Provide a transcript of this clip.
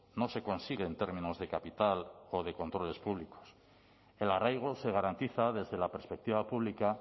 no se consigue en términos de capital o de controles públicos el arraigo se garantiza desde la perspectiva pública